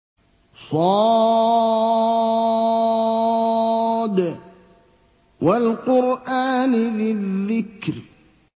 ص ۚ وَالْقُرْآنِ ذِي الذِّكْرِ